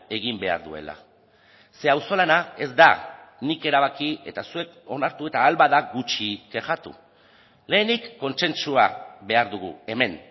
egin behar duela ze auzolana ez da nik erabaki eta zuek onartu eta ahal bada gutxi kexatu lehenik kontsentsua behar dugu hemen